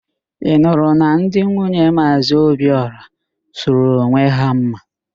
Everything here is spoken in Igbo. Ị nụrụ na ndị nwunye Maazị Obiora sụrụ onwe ha mma?